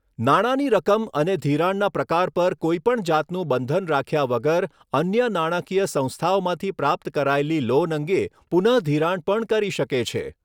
નાણાંની રકમ અને ધિરાણના પ્રકાર પર કોઈપણ જાતનું બંધન રાખ્યા વગર અન્ય નાણાંકીય સંસ્થાઓમાંથી પ્રાપ્ત કરાયેલી લોન અંગે પુનઃધિરાણ પણ કરી શકે છે.